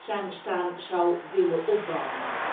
zijn bestaan zou willen opbouwen.